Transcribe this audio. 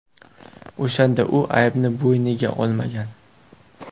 O‘shanda u aybni bo‘yniga olmagan.